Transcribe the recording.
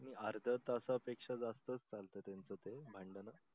नाही अर्ध्या तासा पेक्षा जास्तच चालत त्यांच ते भाडंण